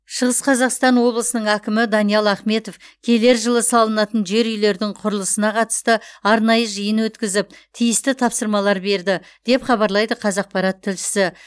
шығыс қазақстан облысының әкімі даниал ахметов келер жылы салынатын жер үйлердің құрылысына қатысты арнайы жиын өткізіп тиісті тапсырмалар берді деп хабарлайды қазақпарат тілшісі